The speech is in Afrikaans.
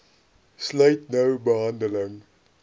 sluit nou behandeling